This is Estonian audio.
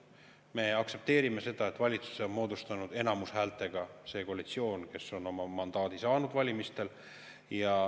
Me aktsepteerime seda, et valitsuse on moodustanud enamushäältega see koalitsioon, kes on oma mandaadi saanud valimistel.